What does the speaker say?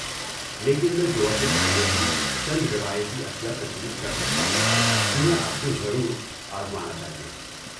لیکن میں گوا کے کھانے کی چند روایتی اشیاء تجویز کر سکتا ہوں جنہیں آپ کو ضرور آزمانا چاہیے۔